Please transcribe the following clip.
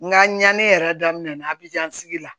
N ka ɲani yɛrɛ daminɛna abijan sigi la